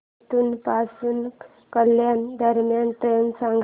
परतूर पासून कल्याण दरम्यान ट्रेन सांगा